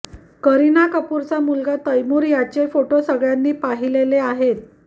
करीना कपूरचा मुलगा तैमुरची याचे फोटो सगळ्यांनी पाहिलेले आहेत